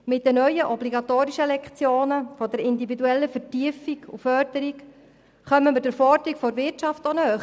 Mit den neuen, obligatorischen Lektionen der individuellen Vertiefung und Förderung kommen wir auch der Forderung der Wirtschaft näher.